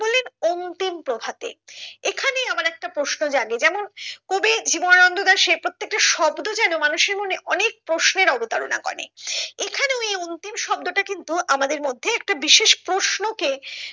অন্তিম প্রভাতে এখানে এমন একটা প্রশ্ন জাগে যেমন কবি জীবনানন্দ দাশের প্রত্যেকটা শব্দ যেন মানুষের মনে অনেক প্রশ্নের অবতারণা করে এখানে ও এই অন্তিম শব্দটা কিন্তু আমাদের মধ্যে একটা বিশেষ প্রশ্ন কে